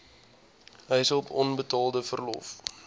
huishulp onbetaalde verlof